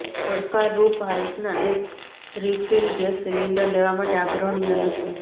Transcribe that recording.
પડકારરૂપ હાઇકનાં એક રિફીલ ગેસ સિલિન્ડર લેવા માટે આગ્રહણીય નથી